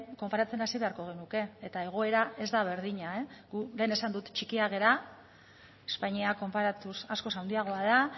konparatzen hasi beharko genuke eta egoera ez da berdina gu lehen esan dut txikiak gara espainia konparatuz askoz handiagoa da